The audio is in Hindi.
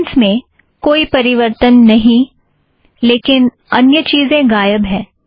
कौंटेंट्स में कोई परिवर्तन नहीं लेकिन अन्य चीज़ें गायब है